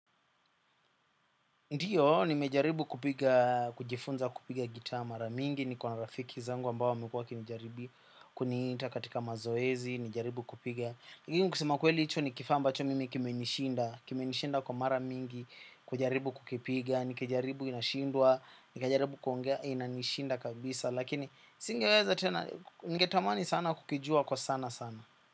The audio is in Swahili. Ndio, nimejaribu kupiga, kujifunza kupiga gita mara mingi, niko na rafiki zangu ambao wamekua wakini jaribu kuniita katika mazoezi, nijaribu kupiga. Lakini kusema ukweli hicho ni kifaa ambacho mimi kimenishinda, kimenishinda kwa mara mingi, kujaribu kukipiga, nikijaribu inashindwa, nikijaribu inanishinda kabisa, lakini singeweza tena, ningetamani sana kukijua kwa sana sana.